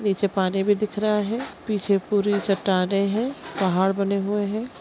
नीचे पानी भी दिख रहा है पीछे पूरी चट्टाने है पहाड़ बने हुए हैं ।